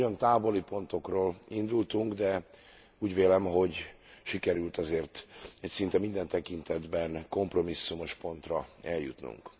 Nagyon távoli pontokról indultunk, de úgy vélem, hogy sikerült azért egy szinte minden tekintetben kompromisszumos pontra eljutnunk.